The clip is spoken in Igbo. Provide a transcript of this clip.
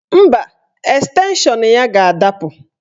Mba, estenshọn ya ga-adapụ